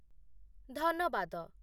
ଧନବାଦ